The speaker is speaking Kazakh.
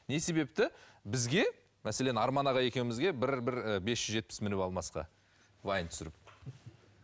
не себепті бізге мәселен арман аға екеумізге бір бір і бес жүз жетпіс мініп алмасқа вайн түсіріп